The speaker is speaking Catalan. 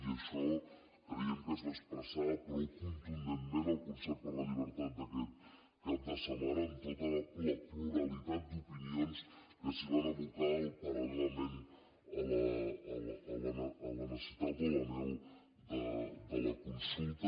i això creiem que es va expressar prou contundentment al concert per la llibertat d’aquest cap de setmana amb tota la pluralitat d’opinions que s’hi van abocar paral·lelament a la necessitat o a l’anhel de la consulta